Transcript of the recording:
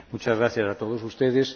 Muchas gracias a todos ustedes.